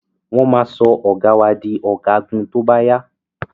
Wọn ma sọ ọ̀gá wà di ọ̀gágun tóbá yá